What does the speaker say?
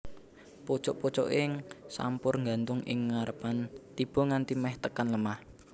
Pucuk pucuking sampur nggantung ing ngarepan tiba nganti meh tekan lemah